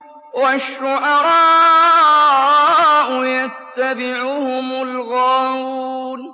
وَالشُّعَرَاءُ يَتَّبِعُهُمُ الْغَاوُونَ